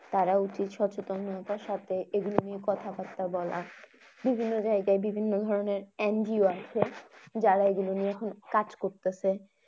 তারা উচিত সচেতনতার সাথে এগুলো নিয়ে কথা বার্তা বলা। বিভিন্ন জায়গায় বিভিন্ন ধরনের NGO আছে যারা এগুলো নিয়ে খুব কাজ করতেছে।